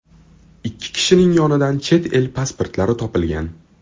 Ikki kishining yonidan chet el pasportlari topilgan.